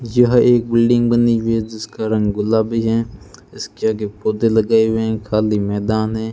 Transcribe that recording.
यह एक बिल्डिंग बनी हुई है जिसका रंग गुलाबी है इसके आगे पौधे लगे हुए हैं खाली मैदान है।